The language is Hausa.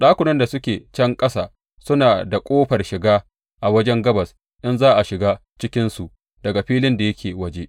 Ɗakunan da suke can ƙasa suna da ƙofar shiga a wajen gabas in za a shiga cikinsu daga filin da yake waje.